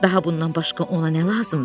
Daha bundan başqa ona nə lazımdır ki?